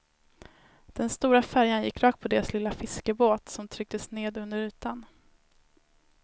Den stora färjan gick rakt på deras lilla fiskebåt som trycktes ner under ytan.